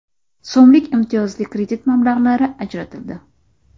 so‘mlik imtiyozli kredit mablag‘lari ajratildi.